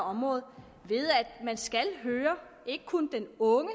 område ved at man skal høre ikke kun den unge